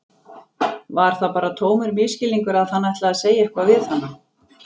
Var það bara tómur misskilningur að hann ætlaði að segja eitthvað við hana?